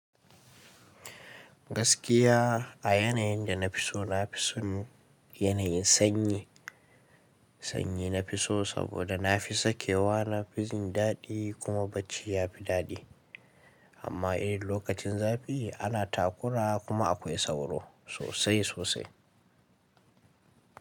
Gaskiya a yanayin da na fi so na fi son yanayin sanyi. Sanyi na fi so saboda na fi sakewa, na fi jin daɗi kuma bacci ya fi daɗi. Amma idan lokacin zafi ana takura kuma akwai sauro sosai sosai.